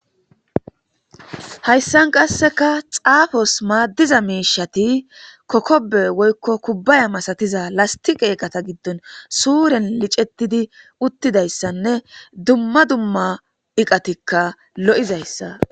Hayssan qasseka xaafos maaddiza miishati kokobe woykko kubbaya masatiza lasti qeeqata giddon suuren licetidi uttidayssanne dumma dumma iqatikka lo'izayssa.